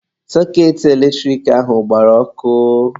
Sọketị eletrik ahụ agbara ọkụ.